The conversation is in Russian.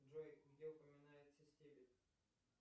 джой где упоминается стебель